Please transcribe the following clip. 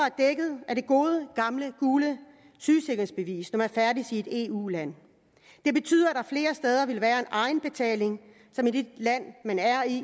er det gode gamle gule sygesikringsbevis når man færdes i et eu land det betyder at der flere steder vil være en egenbetaling i det land man er i